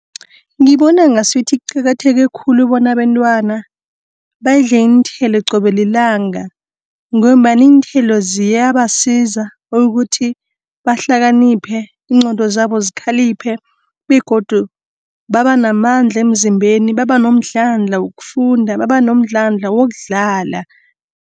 Ngibona ngasuthi qakatheke khulu bona abentwana, badle iinthelo qobe lilanga, ngombana iinthelo ziyabasiza ukuthi, bahlakaniphe, iinqqondo zabo zikhaliphe begodu babanamandla emzimbeni, babanomdlandla wokufunda, babanomdlandla wokudlala.